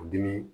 Dimi